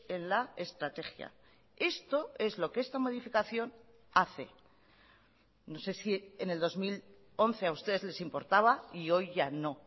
en la estrategia esto es lo que esta modificación hace no sé si en el dos mil once a ustedes les importaba y hoy ya no